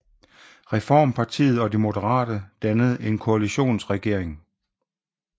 Reformpartiet og De Moderate dannede en koalitionsregering